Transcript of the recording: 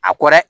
A kɔ dɛ